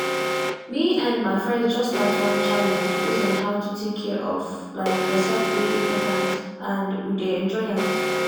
me and my friends just start one challenge base on how to take care of like yourself take dey important and we dey enjoy am